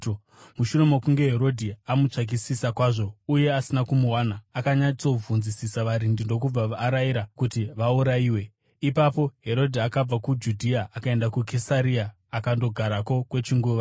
Mushure mokunge Herodhi amutsvakisisa kwazvo uye asina kumuwana, akanyatsobvunzisisa varindi ndokubva arayira kuti vaurayiwe. Ipapo Herodhi akabva kuJudhea akaenda kuKesaria akandogarako kwechinguva.